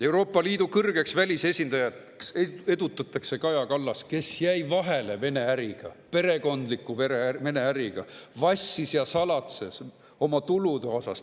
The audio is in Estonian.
Euroopa Liidu kõrgeks välisesindajaks edutatakse Kaja Kallas, kes jäi vahele Vene-äriga, perekondliku Vene-äriga, ning vassis ja salatses oma tulude osas.